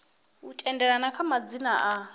u tendelana kha madzina a